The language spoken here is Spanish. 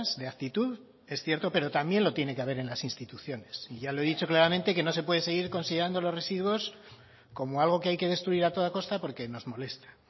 de actitud es cierto pero también lo tiene que haber en las instituciones y ya lo he dicho claramente que no se puede seguir considerando los residuos como algo que hay que destruir a toda costa porque nos molesta